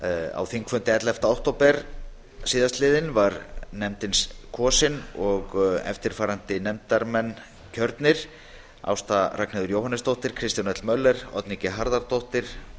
á þingfundi ellefta október síðastliðin var nefndin síðan kosin í nefndina voru kosnir eftirtaldir alþingismenn ásta r jóhannesdóttir kristján l möller og oddný g harðardóttir